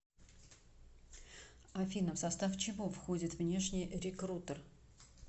афина в состав чего входит внешний рекрутер